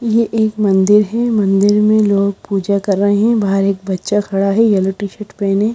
ये एक मंदिर है मंदिर में लोग पूजा कर रहे हैं बाहर एक बच्चा खड़ा है येलो टी शर्ट पेहने।